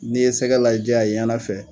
N'i ye sɛgɛ lajɛ a ye ɲana fɛ